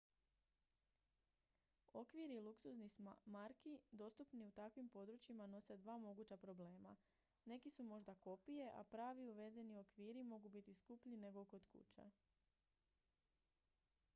okviri luksuznih marki dostupni u takvim područjima nose dva moguća problema neki su možda kopije a pravi uvezeni okviri mogu biti skuplji nego kod kuće